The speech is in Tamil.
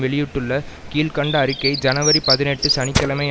வெளியிட்டுள்ள கீழ்கண்ட அறிக்கை ஜனவரி பதினெட்டு சனி கிழமை